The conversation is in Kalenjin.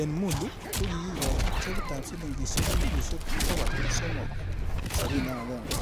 En mulu, ko kikikochi chekitab silingisiek elfusiek bogol somok, sopini ak agenge,